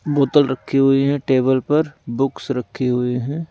बोतल रखी हुई हैं टेबल पर बुक्स रखी हुई हैं।